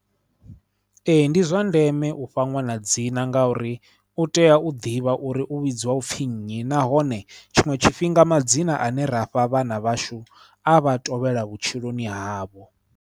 Ee ndi zwa ndeme u fha ṅwana dzina ngauri u tea u ḓivha uri u vhidziwa u pfhi nnyi nahone tshiṅwe tshifhinga madzina ane ra fha vhana vhashu a vha tovhela vhutshiloni havho.